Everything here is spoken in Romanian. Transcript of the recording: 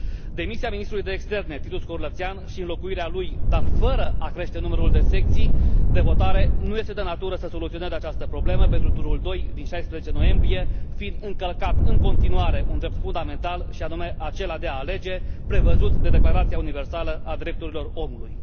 Demisia ministrului de externe, Titus Corlățean, și înlocuirea lui, dar fără a crește numărul de secții de votare, nu este de natură să soluționeze această problemă pentru turul doi din 16 noiembrie, fiind încălcat în continuare un drept fundamental, și anume acela de a alege, prevăzut de Declarația Universală a Drepturilor Omului.